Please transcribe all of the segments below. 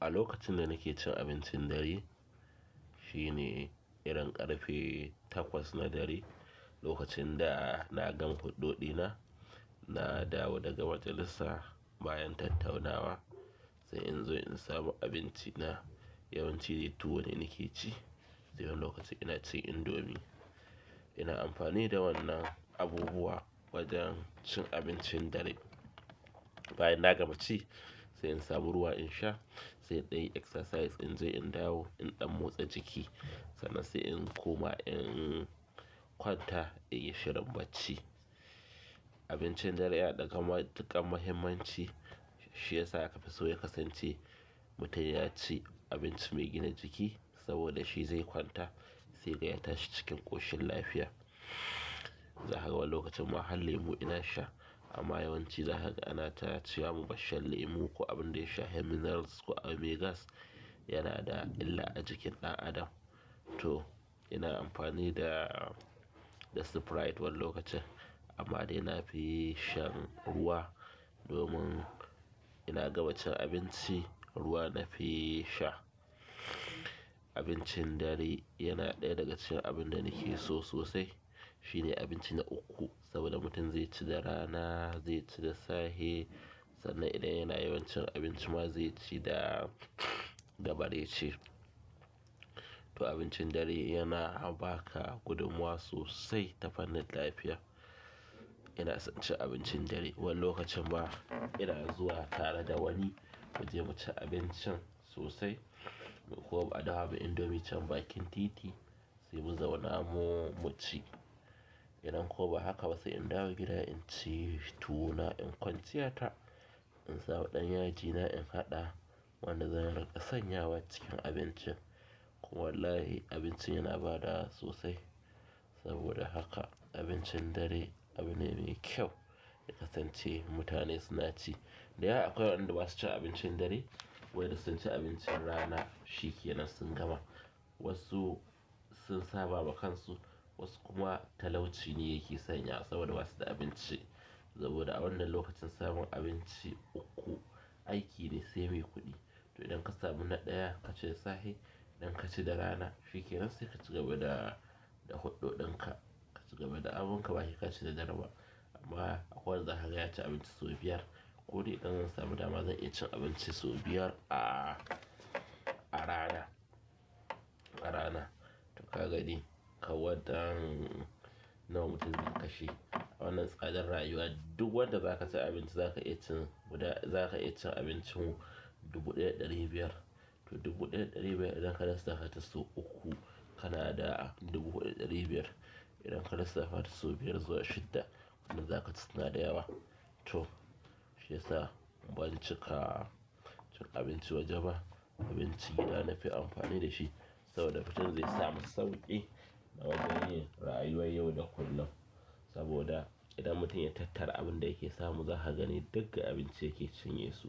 A lokacin da nake cin abincin dare, shine irin ƙarfe takwas na dare. Lokacin da na gan huɗɗo ɗina, na dawo daga majalisa bayan tattaunawa sai in zo in samu abinci na. Yawan ci tuwo ne nake ci. Sai wani lokaci ina cin indomi. Ina amfani da wannan abubuwa wajen cin abincin dare. Bayan na gama ci sai in samu ruwa in sha. Sai in ɗan yi exercise in je in dawo in ɗan motsa jiki sannan sai in koma in kwanta in yi shirin bacci. Abincin dare ya ɗagama matuƙar mahimmanci, shi ya sa aka fiso ya kasance mutum ya ci abinci mai gina jiki saboda shi zai kwanta sai dai a tashi cikin ƙoshin lafiya. Wani lokacin ma har lemu ina sha. Amma yawanci za kaga ana ta ce wa mu bar shan lemu ko abun da ya shafa minerals ko a, abu mai gas yana da illa a jikin ɗan adam to ina amfani da sprite wani lokacin amma dai na fi shan ruwa domin ina gama cin abinci, ruwa nafi sha. Abincin dare yana ɗaya daga cikin abun da nake so sosai. Shi ne abinci na uku saboda mutum zai ci da rana, zai ci da sahe sannan idan yana yawan cin abinci ma zai ci da bare ci. Abincin dare yana ba ka gudunmuwa sosai ta fannin lafiya. Ina son cin abincin dare wani lokacin ma ina zuwa tare da wani mu je mu ci abincin sosai. Ko ba a daha ba indomi can bakin titi sai mu zauna mu mu ci. Idan kuwa ba haka ba sai in dawo gida in ci tuwo na in kwanciya ta in samu ɗan yaji na in haɗa wanda zan rinƙa sanyawa cikin abincin. Koma wallahi abinci yana ba ɗa sosai saboda haka abincin dare abune mai kyau ya kasance mutane suna ci. Dayawa akwai wanda basu cin abincin dare, wai da sun ci abincin rana, shikenan sun gama. Wasu sun saba wa kansu, wasu kuma talauci ne yake sanya saboda basu da abinci. Saboda a wannan lokacin samun abinci uku aiki ne sai mai kuɗi. To idan ka samu na ɗaya ka ci da sahe idan ka ci da rana shikenan sai ka ci gaba da huɗɗo ɗin ka. Ka ci gaba da abin ka bahe ka ci da dare ba amma akwai wanda za kaga ya ci abinci sau biyar. Kuɗi idan zan samu dama zan iya cin abinci sau biyar a rana. Toh ka gani kawai dan nawa mutum zai kashe a wannan tsadar rayuwar, duk wanda za ka sai abinci za ka iya cin guda za ka iyan cin abincin dubu ɗaya da ɗari biyar. To dubu ɗaya da ɗari biyar idan ka lissafa ta sau uku kana da dubu huɗu da ɗari biyar. Idan ka lissafata sau biyar zuwa shidda wannan za ka ce tana da yawa. To shi ya sa ban cika cin abinci waje ba. Abincin gida nafi amfani da shi saboda mutum zai samu sauƙi na wajen yin rayuwar yau da kullum. Saboda idan mutum ya tattara abin da yake samu za ka gani duk a abinci yake cinyesu.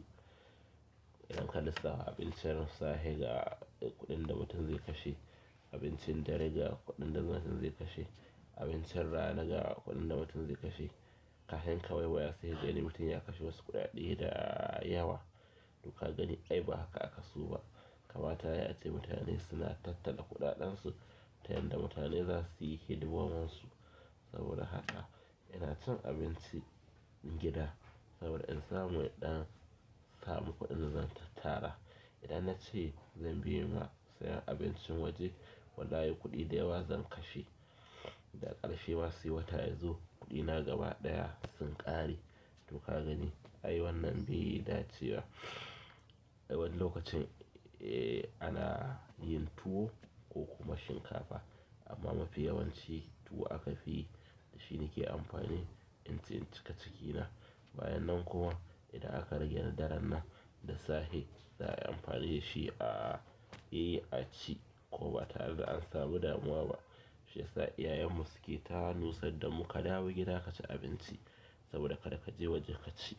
Idan ka lissafa abincin sahe ga kuɗin da mutum zai kashe, abincin dare ga kuɗin da mutum zai kashe, abincin rana ga kuɗin da mutum zai kashe. Ka hin ka wai waya sai ka gani mutum ya kashe wasu kuɗaɗe da yawa. To ka gani ai ba haka aka so ba. Kamata yayi ace mutane suna tattala kuɗaɗen su ta yanda mutane za su yi hidimominsu. Saboda haka ina cin abinci gida saboda in samu ɗan samu kuɗin zan tattara. Idan na ce zan biye ma sayan abincin waje, wallahi kuɗi da yawa zan kashe. Da ƙarshe ma sai wata yazo kuɗina gaba ɗaya sun ƙare. Toh ka gani ai wannan bai yi dace ba wani lokacin ana yin tuwo ko kuma shinkafa amma mafi yawan ci tuwo aka fi yi. Shi nake amfani in ci in cika cikina. Bayanan kuma idan aka rage na daren nan, da sahe za a yi amfani da shi a yi a ci ko ba tare da an samu damuwa ba. Shi ya sa iyayan mu suke tanosa damu ka dawo gida ka ci abinci saboda ka da ka je waje ka ci.